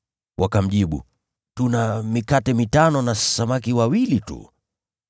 Wakamjibu, “Tuna mikate mitano na samaki wawili tu.”